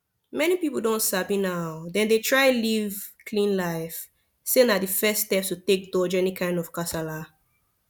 many people don sabi now dem dey try live clean life say na the first step to take dodge any kind of kasala